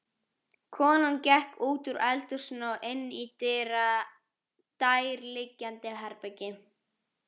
Konan gekk útúr eldhúsinu og inní nærliggjandi herbergi.